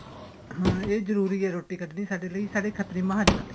ਹਾਂ ਇਹ ਜਰੂਰੀ ਏ ਰੋਟੀ ਕੱਡਣੀ ਸਾਡੇ ਲੈ ਸਾਡੇ ਖਤਰੀ ਮਹਾਜਨਾ ਲਈ